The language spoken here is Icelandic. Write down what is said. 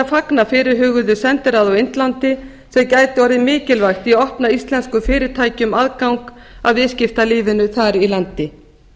fagna fyrirhuguðu sendiráði á indlandi sem gæti orðið mikilvægt í að opna íslenskum fyrirtækjum aðgang að viðskiptalífinu þar í landi